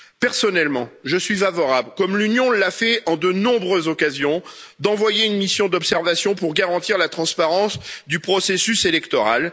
Personnellement, je suis favorable, comme l'Union l'a fait à de nombreuses occasions, à l'envoi d'une mission d'observation pour garantir la transparence du processus électoral.